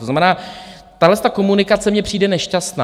To znamená, tahleta komunikace mně přijde nešťastná.